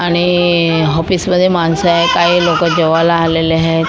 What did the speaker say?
आणि हॉपिस मध्ये माणसं आहे काही लोकं जेवायला आलेले आहेत.